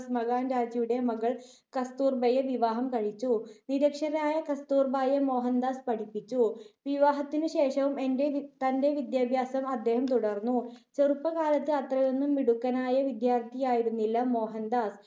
മകാൻ‍ജിയുടെ മകൾ കസ്തൂർബയെ വിവാഹം കഴിച്ചു. നിര‍ക്ഷരയായ കസ്തൂർ‍ബായെ മോഹൻ‍ദാസ് പഠിപ്പിച്ചു. വിവാഹത്തിനുശേഷവും തന്റെ വിദ്യാഭ്യാസം അദ്ദേഹം തുടർന്നു. ചെറുപ്പകാലത്ത് അത്രയൊന്നും മിടുക്കനായ വിദ്യാർത്ഥിയായിരുന്നില്ല മോഹൻ‍ദാസ്.